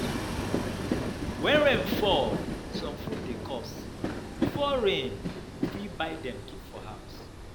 When rain fall, some food dey cost, before rain we fit buy dem keep for house